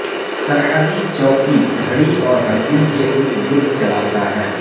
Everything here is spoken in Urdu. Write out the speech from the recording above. سرحدی چوکی گھڑی اور ہر دن کے ارد گرد چلاتا ہے